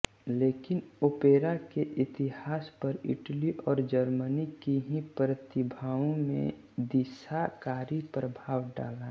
लेकिन ओपेरा के इतिहास पर इटली और जर्मनी की ही प्रतिभाओं ने दिशाकारी प्रभाव डाला